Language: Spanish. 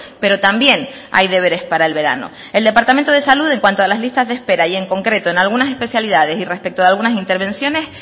pero también hay deberes para el verano el departamento de salud en cuanto a las listas de espera y en concreto en algunas especialidades y respecto de algunas intervenciones